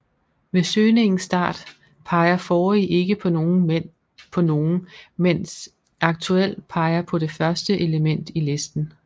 Ved søgningens start peger forrige ikke på nogent mens aktuel peger på det første element i listen